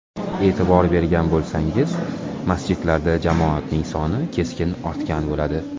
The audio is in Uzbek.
E’tibor bergan bo‘lsangiz, masjidlarda jamoatning soni keskin ortgan bo‘ladi.